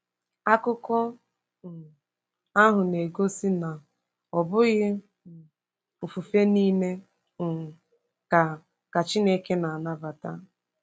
Akụkọ um ahụ na-egosi na ọ bụghị um ofufe nile um ka ka Chineke na-anabata.